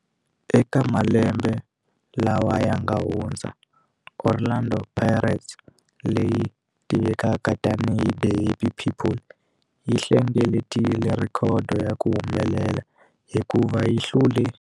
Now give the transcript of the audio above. Eka malembe lawa yanga hundza, Orlando Pirates, leyi tivekaka tani hi 'The Happy People', yi hlengeletile rhekhodo ya ku humelela hikuva yi hlule.